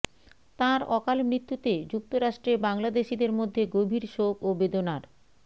তাঁর অকাল মৃত্যুতে যুক্তরাষ্ট্রে বাংলাদেশিদের মধ্যে গভীর শোক ও বেদনার